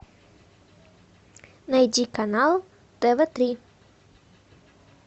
найди канал тв три